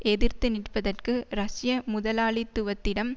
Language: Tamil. எதிர்த்து நிற்பதற்கு ரஷ்ய முதலாளித்துவத்திடம்